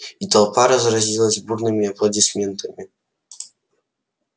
и толпа разразилась бурными аплодисментами